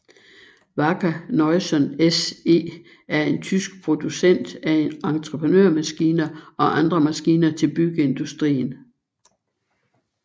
Wacker Neuson SE er en tysk producent af entreprenørmaskiner og andre maskiner til byggeindustrien